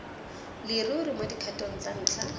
leruri mo dikgatong tsa ntlha